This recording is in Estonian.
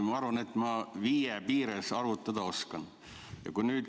Ma arvan, et ma viie piires arvutada oskan.